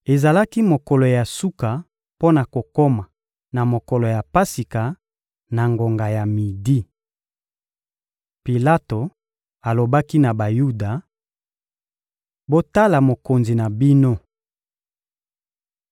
Ezalaki mokolo ya suka mpo na kokoma na mokolo ya Pasika, na ngonga ya midi. Pilato alobaki na Bayuda: — Botala mokonzi na bino!